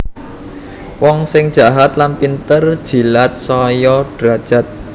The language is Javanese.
Wong sing jahat lan pinter jilat saya derajat